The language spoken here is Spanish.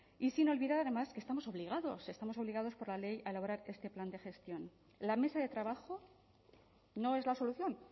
y sin olvidar además que estamos obligados estamos obligados por la ley a elaborar este plan de gestión la mesa de trabajo no es la solución